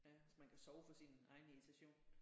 Ja hvis man kan sove for sin egen irritation